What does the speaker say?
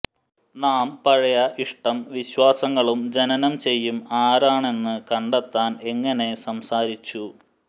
നാം പഴയ ഇഷ്ടം വിശ്വാസങ്ങളും ജനനം ചെയ്യും ആരാണെന്ന് കണ്ടെത്താൻ എങ്ങനെ സംസാരിച്ചു